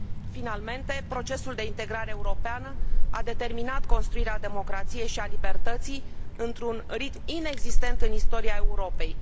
Finalmente, procesul de integrare europeană a determinat construirea democrației și a libertății într un ritm inexistent în istoria Europei.